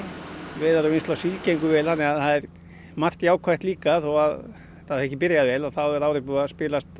veiðar og vinnsla á síld gengu vel þannig að það er margt jákvætt líka þó að það hafi ekki byrjað vel þá er árið búið að spilast